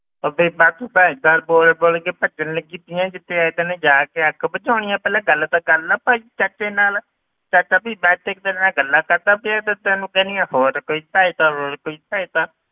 ਉਹ ਬੀਬਾ ਤੂੰ sir ਬੋਲ ਬੋਲ ਕੇ ਭੱਜਣ ਲੱਗੀ ਪਈ ਹੈ ਜਾ ਕੇ ਅੱਗ ਬੁਝਾਉਣੀ ਹੈ ਪਹਿਲਾਂ ਗੱਲ ਤਾਂ ਕਰ ਲਾ ਭਾਈ ਚਾਚੇ ਨਾਲ, ਦੱਸ ਵੀ ਮੈਂ ਇੱਥੇ ਤੇਰੇ ਨਾਲ ਗੱਲਾਂ ਕਰਦਾ ਪਿਆ ਤੇ ਤੂੰ ਕਹਿਨੀ ਆਂ ਹੋਰ ਕੋਈ ਸਹਾਇਤਾ ਹੋਰ ਕੋਈ ਸਹਾਇਤਾ,